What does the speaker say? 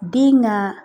Den ka